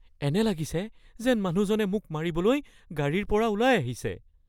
এনে লাগিছে যেন মানুহজনে মোক মাৰিবলৈ গাড়ীৰ পৰা ওলাই আহিছে